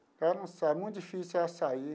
Ela não saí é muito difícil ela sair.